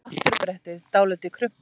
Afturbrettið dálítið krumpað.